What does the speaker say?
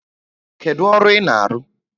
Kedu ọrụ ị na-arụ?